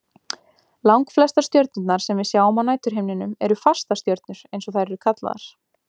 Langflestar stjörnurnar sem við sjáum á næturhimninum eru fastastjörnur eins og þær eru kallaðar.